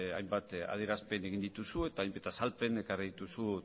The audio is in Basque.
hainbat adierazpen egin dituzu eta hainbat azalpen ekarri dituzu